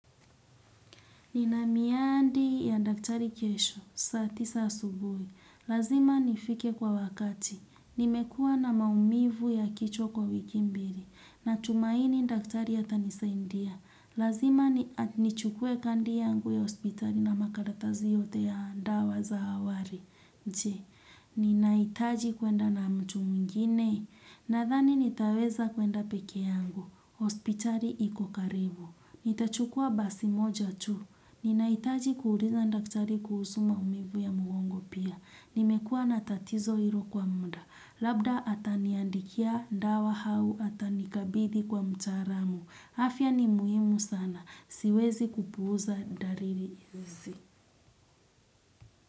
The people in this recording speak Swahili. Nina miadi na daktari kesho saa tisa asubuhi. Lazima nifike kwa wakati. Nimekua na maumivu ya kichwa kwa wiki mbili. Natumaini daktari atanisaidia. Lazima nichukue kadi yangu ya hospitali na makaratasi yote ya dawa za awali. Nchi, ninahitaji kwenda na mtu mwingine. Nadhani nitaweza kwenda peke yangu. Hospitali iko karibu. Nitachukua basi moja tu. Ninahitaji kuuliza daktari kuhusu maumivu ya mgongo pia. Nimekuwa na tatizo hilo kwa muda. Labda ataniandikia dawa au atanikabidhi kwa mtaalamu. Afya ni muhimu sana. Siwezi kupuuza dalili hizi.